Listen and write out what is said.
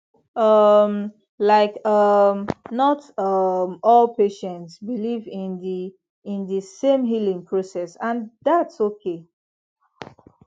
um like um not um all patients believe in the in the same healing process and thats okay